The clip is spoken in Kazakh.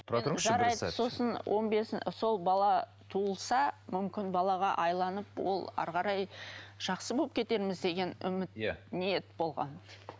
тұра тұрыңызшы бір сәт сосын он бес сол бала туылса мүмкін балаға ол әрі қарай жақсы болып кетерміз деген үміт иә ниет болған